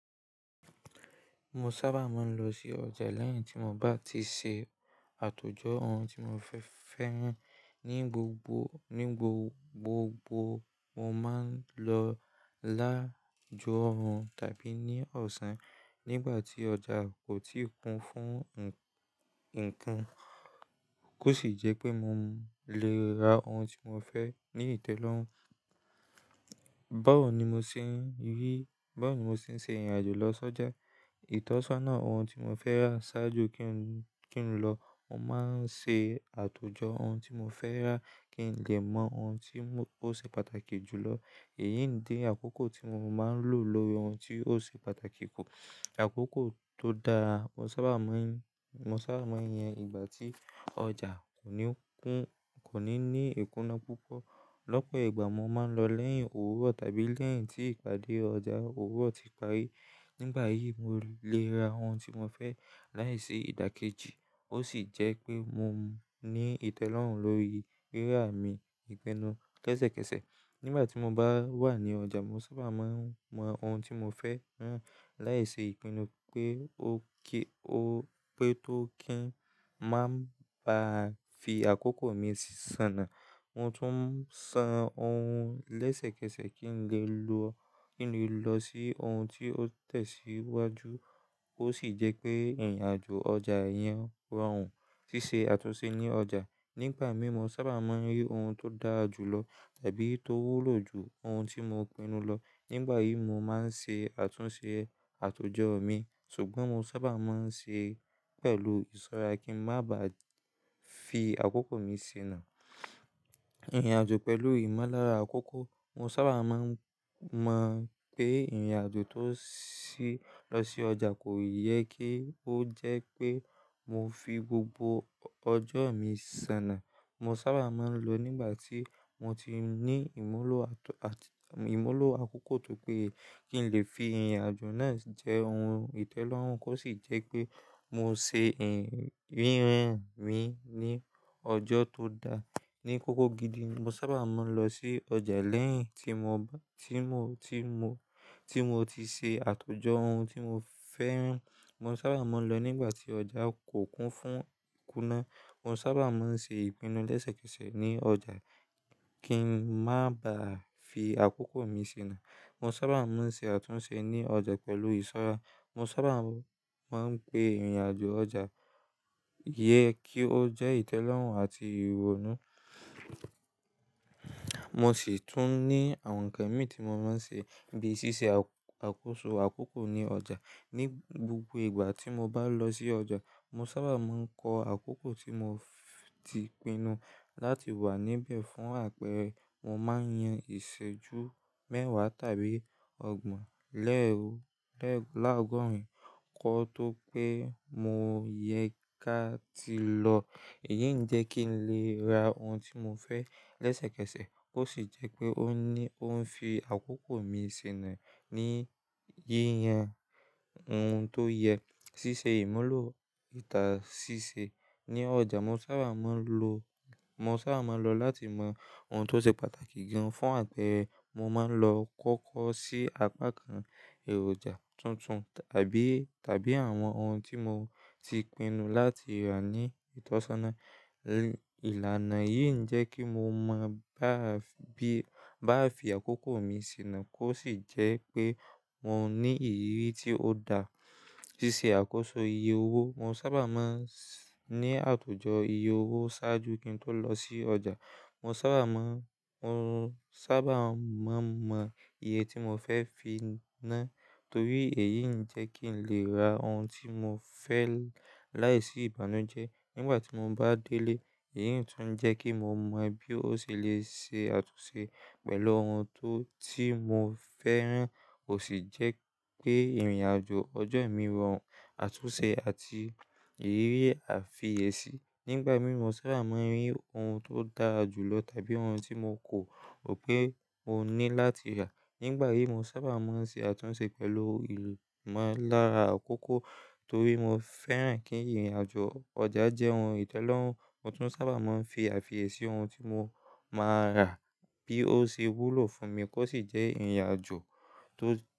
Mo sábà máa ń lọ sí ọjà lẹ́yìn tí mo bá ti ṣe àtòjọ ohun tí mo fẹ́ fẹ́ rán. Ni gbogbo, ní gbogbo mo máa ń lọ lájú ọ̀run tàbí ní ọ̀sán. Nígbà tí ọjà kò tíì kún fún nkan, kó sì jẹ́ pé mo lè ra ohun tí mo fẹ́ ní ìtẹ́lọ́rùn. Báwo ni mo nṣe rí? Báwo ni mo ṣe ń ṣe ìrìnàjò lọ sọ́jà? Ìtọ́sọ́nà ohun tí mo fẹ́ rà ṣáájú kí n lọ, mo máa ń ṣe àtòjọ ohun tí mo fẹ́ rà kí n lè mọ ohun tí ó ṣe pàtàkì jù lọ. Èyí ń dẹ àkókò tí mo máa ń lò lórí ohun tí ó ṣe pàtàkì kù. Àkókò tó dáa, mo sábà máa ń, mo sábà máa ń yàn ìgbà tí ọjà kò ní kún, kò ní ní ìkúná púpọ̀. Lọ́pọ̀ ìgbà mo máa ń lọ lẹ́yìn òwúrọ̀ tàbí lẹ́yìn tí ìpàdé ọjà òwúrọ̀ ti parí. Nígbà yìí, mo lè ra ohun tí mo fẹ́ láìsí ìdàkejì ó sì jẹ́ pé mo ní ìtẹ́lọ́rùn lórí rírà mi ìpinnu. Lẹ́sẹ̀kẹsẹ̀ nígbà tí mo bá wà ní ọjà, mo sábà máa ń mọ ohun tí mo fẹ́ na láìsí ìpinnu pé ó kí ó pé tó kí n má ba fi àkókò mi ṣàná. Mo tún san ohun lẹ́sẹ̀kẹsẹ̀ kí n lè lọ, kí n lè lọ sí ohun tí ó tẹ̀síwájú ó sì jẹ́ pé ìrìnàjò ọjà yẹn rọrùn. Sísé àtúnṣe ní ọjà. Nígbà mìíràn, mo sábà máa ń rí ohun tó dára jù lọ tàbí tó wúlò jù ohun tí mo pinnu lọ. Nígbà yìí mo máa ń ṣe àtúnṣe àtòjọ mi, ṣùgbọ́n mo sábà máa ń ṣe pẹ̀lú ìsọ́ra kí ń má ba fi àkókò mi ṣìnà. Ìrìnàjò pẹ̀lú ìmolára àkókò. Mo sábà máa ń mọ̀ pé ìrìnàjò tó lọ sí ọjà kò yẹ kí ó jẹ́ pé mo fi gbogbo ọjọ́ mi ṣàná. Mo sábà máa ń lọ nígbà tí mo ti ní ìmúlò àt--, ìmúlò àkókò tó pé kí n lè fi ìrìnàjò náà jẹ́ ohun ìtẹ́lọ́rùn kó sì jẹ́ pé mo ṣe ìrín mi ní ọjọ́ tó da. Ni kókó gidi ni mo sábà máa ń lọ sí ọjà lẹ́yìn tí mo bá, tí mo, tí mo, tí mo ti ṣe àtòjọ ohun tí mo fẹ́rán. Mo sábà máa ń lọ nígbà tí ọjà kò kún fún ìkúná. Mo sábà máa ń ṣe ìpinnu lẹ́sẹ̀kẹsẹ̀ ní ọjà kí n má ba fi àkókò mi ṣìnà. Mo sábà máa ń ṣe àtúnṣe ní ọjà pẹ̀lú ìsọ́ra. Mo sábà máa ń pé ìrìnàjò ọjà yẹ kí ó jẹ́ ìtẹ́lọ́rùn àti ìrònú. Mo sì tún ní àwọn ǹkan mi tí mo máa ń ṣe bíi ṣíṣe àkóso àkókò ní ọjà. Ni gbogbo ìgbà tí mo bá lọ sí ọjà, mo sábà máa ń kọ àkókò tí mo ti pinnu láti wà níbẹ̀ fún àpẹẹrẹ mo máa ń yan ìṣẹ́jú mẹ́wàá tàbí ọgbọ̀n lẹ́ò, láàgọ́rin ún kọ́ tó pé mo yẹ ká ti lọ. Èyí ń jẹ́ kí n lè ra ohun tí mo fẹ́ lẹ́sẹ̀kẹsẹ̀ kó sì jẹ́ pé ó ní, ó ń fi àkókò mi ṣìnà ní yíyan ohun tó yẹ. Sísé ìmúlò ìtà síṣe. Ni ọjà mo sábà máa ń lo, mo sábà máa ń lọ láti mọ ohun tó ṣe pàtàkì gan fún àpẹẹrẹ mo máa ń lọ kọ́kọ́ sí apá kan èròjà tuntun tàbí, tàbí àwọn ohun tí mo ti pinnu láti rà ní ìtọ́sọ́nà. Ìlànà yìí ń jẹ́ kí mo máa bá bí, bá fi àkókò mi ṣìnà kó sì jẹ́ pé mo ní ìrírí tí ó dáa. Sísé àkóso iye owó. Mo sábà máa ń ní àtòjọ iye owó ṣáájú kí n tó lọ sí ọjà. Mo sábà máa ń, mo sábà máa ń mọ iye tí mo fẹ́ fi ná torí èyí ń jẹ́ kí n lè ra ohun tí mo fẹ́ láìsí ìbànújẹ́ nígbà tí mo bá délé. Èyí tún ń jẹ́ kí mo mọ bí ó ṣe lè ṣe àtúnṣe pẹ̀lú ohun tó tí mo fẹ́ rán ó sì jẹ́ pé ìrìnàjò ọjọ́ mi rọrùn, àtúnṣe àti ìrírí àfiyẹ̀sí. Nígbà mìí mo sábà máa ń rí ohun tó dára jù lọ tàbí ohun tí mo kò mọ pé mo ní láti rà. Nígbà yìí mo sábà máa ń ṣe àtúnṣe pẹ̀lú ìmúlára àkókò torí mo fẹ́ràn kí ìrìnàjò ọjà jẹ́ ohun ìtẹ́lọ́rùn. Mo tún sábà máa ń fi àfiẹ̀sí ohun tí mo máa rà bí ó ṣe wúlò fún mi kó sì jẹ́ ìrìnàjò tó.